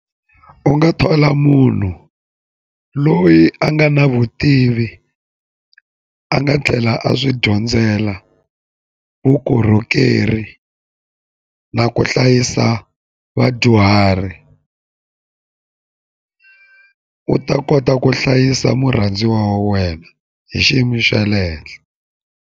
U nga thola munhu loyi a nga na vutivi a nga tlhela a swi dyondzela vukorhokeri na ku hlayisa vadyuhari u ta kota ku hlayisa murhandziwa wa wena hi xiyimo xa le henhla.